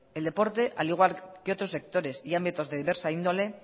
el deporte al igual que otros sectores y ámbitos de diversa índole